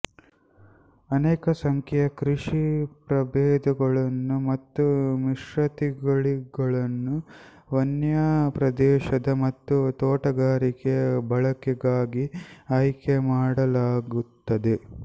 ಅನೇಕ ಸಂಖ್ಯೆಯ ಕೃಷಿ ಪ್ರಭೇದಗಳನ್ನು ಮತ್ತು ಮಿಶ್ರತಳಿಗಳನ್ನು ವನ್ಯ ಪ್ರದೇಶದ ಮತ್ತು ತೋಟಗಾರಿಕೆಯ ಬಳಕೆಗಾಗಿ ಆಯ್ಕೆ ಮಾಡಲಾಗುತ್ತದೆ